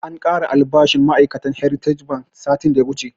An kara albashin ma'ai'katan heritage bank satin da ya wuche